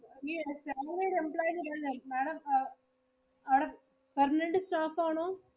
employee എന്ന് പറഞ്ഞില്ലേ Madam അവിടെ permanent staff ആണോ?